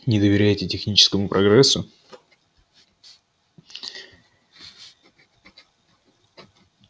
не доверяете техническому прогрессу